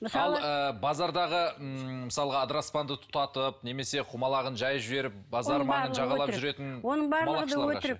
мысалы ы базардағы ммм мысалға адыраспанды тұтатып немесе құмалағын жайып жіберіп базар маңын жағалап жүретін оның барлығы өтірік